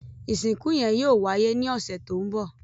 Ìsìnkú yẹn yóò wáyé ní ọ̀sẹ̀ tó ń bọ̀.